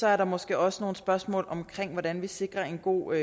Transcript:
er der måske også nogle spørgsmål om hvordan vi sikrer en god